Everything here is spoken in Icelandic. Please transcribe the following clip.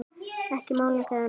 Ekki málning eða neitt.